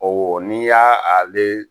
ni y'a ale